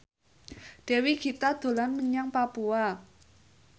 Dewi Gita dolan menyang Papua